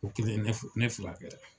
O kɛlen ne furakɛla.